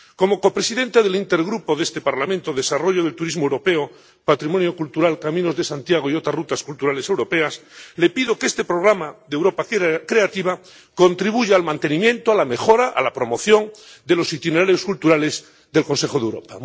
Como copresidente del Intergrupo de este Parlamento de Desarrollo del turismo europeo, patrimonio cultural, Camino de Santiago y otras rutas culturales europeas, le pido que este programa de Europa Creativa contribuya al mantenimiento, a la mejora, a la promoción de los itinerarios culturales del Consejo de Europa.